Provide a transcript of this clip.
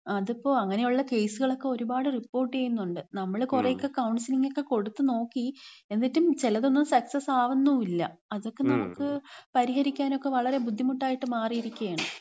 അതിപ്പോ, അങ്ങനെയുള്ള കേസുകളൊക്കെ ഒരുപാട് റിപ്പോർട്ട് ചെയ്യുന്നുണ്ട്. നമ്മൾ കുറെയൊക്കെ കൗൺസിലിങ്ങൊക്കെ കൊട്ത്ത് നോക്കി. എന്നിട്ടും ചെലതൊന്നും സക്സസ് ആവുന്നുല്യ. അതൊക്കെ നമക്ക് പരിഹരിക്കാനൊക്കെ വളരെ ബുദ്ധിമുട്ടായിട്ട് മാറിയിരിക്കാണ്.